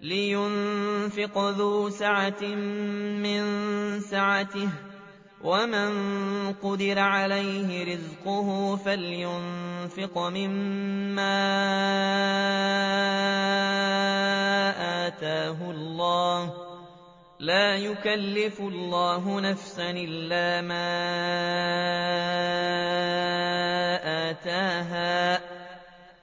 لِيُنفِقْ ذُو سَعَةٍ مِّن سَعَتِهِ ۖ وَمَن قُدِرَ عَلَيْهِ رِزْقُهُ فَلْيُنفِقْ مِمَّا آتَاهُ اللَّهُ ۚ لَا يُكَلِّفُ اللَّهُ نَفْسًا إِلَّا مَا آتَاهَا ۚ